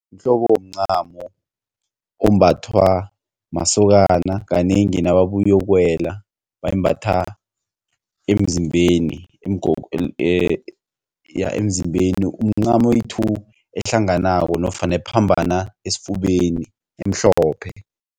Mhlobo womncamo ombathwa masokana kanengi nababuyokuwela bayimbatha emzimbeni umncamo oyi-two ehlanganako nofana ephambana esifubeni emhlophe.